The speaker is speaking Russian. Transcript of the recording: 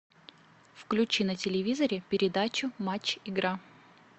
включи на телевизоре передачу матч игра